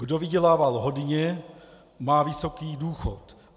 Kdo vydělával hodně, má vysoký důchod.